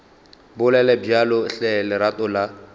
bolele bjalo hle lerato la